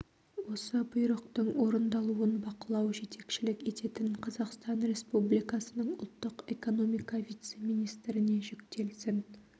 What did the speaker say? осы бұйрықтың орындалуын бақылау жетекшілік ететін қазақстан республикасының ұлттық экономика вице-министріне жүктелсін